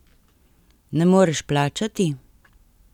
Ne moreš plačati?